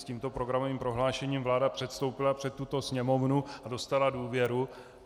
S tímto programovým prohlášením vláda předstoupila před tuto Sněmovnu a dostala důvěru.